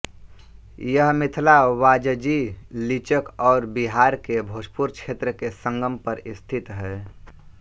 यह मिथिला वाजजी लिचक और बिहार के भोजपुर क्षेत्र के संगम पर स्थित है